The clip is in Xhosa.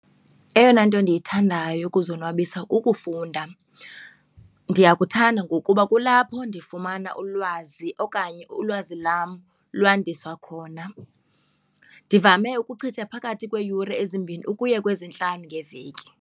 Eyona nto ndiyithandayo yokuzonwabisa kukufunda. Ndiyakuthanda ngokuba kulapho ndifumana ulwazi okanye ulwazi lam lwandiswa khona, ndivame ukuchitha phakathi kweeyure ezimbini ukuya kwezintathu ngeveki.